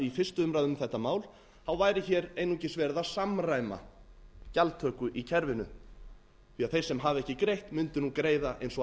fyrstu umræðu um þetta mál væri hér einungis verið að samræma gjaldtöku í kerfinu því að ber sem hafi ekki greitt mundu nú greiða eins og allir